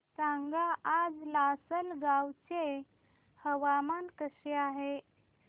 सांगा आज लासलगाव चे हवामान कसे आहे